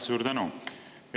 Suur tänu!